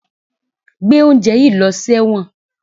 Gbé oúnjẹ yìí lọ sí ẹ̀wọ̀n!